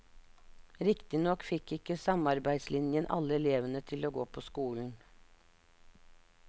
Riktignok fikk ikke samarbeidslinjen alle elevene til å gå på skolen.